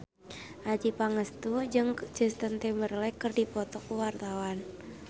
Adjie Pangestu jeung Justin Timberlake keur dipoto ku wartawan